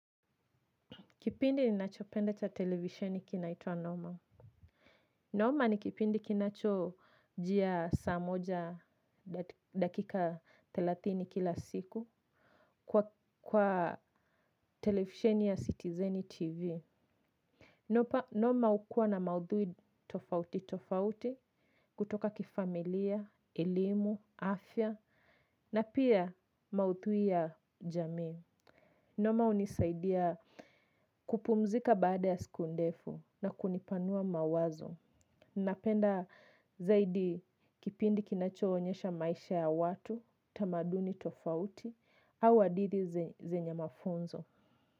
Kipindi ninachopenda cha televishoni kinaitwa. Noma. Noma ni kipindi kinachojia saa moja dakika thelathini kila siku kwa televishoni ya citizen TV. Noma hukua na maudhui tofauti tofauti kutoka kifamilia, elimu, afya na pia maudhui ya jamii. Noma hunisaidia kupumzika baada ya siku ndefu na kunipanua mawazo. Napenda zaidi kipindi kinachoonyesha maisha ya watu, tamaduni tofauti, au hadithi zenya mafunzo.